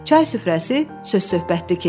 Çay süfrəsi söz-söhbətli keçdi.